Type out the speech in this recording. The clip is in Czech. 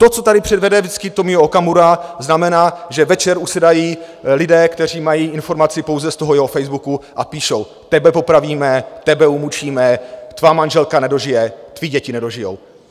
To, co tady předvede vždycky Tomio Okamura, znamená, že večer usedají lidé, kteří mají informaci pouze z toho jeho Facebooku, a píšou: Tebe popravíme, tebe umučíme, tvá manželka nedožije, tvé děti nedožijou...